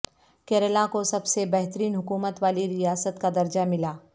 کیرالہ کو سب سے بہترین حکومت والی ریاست کا درجہ ملا